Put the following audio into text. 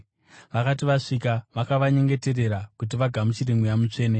Vakati vasvika, vakavanyengeterera kuti vagamuchire Mweya Mutsvene,